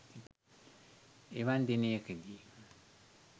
එවන් දිනකදීය.